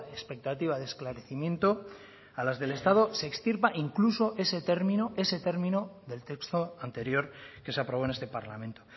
expectativa de esclarecimiento a las del estado se extirpa incluso ese término ese término del texto anterior que se aprobó en este parlamento